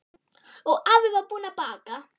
Og afi var búinn að baka.